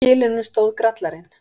Á kilinum stóð Grallarinn.